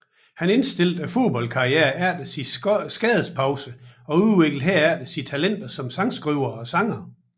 Han indstillede fodboldkarrieren efter en skadespause og udviklede herefter sine talenter som sangskriver og sanger